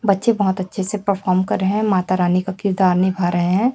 बच्चे बहोत अच्छे से परफॉर्म कर रहे हैं माता रानी का किरदार निभा रहे हैं।